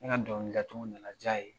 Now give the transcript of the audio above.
N ka dugawu datugu nana diya ye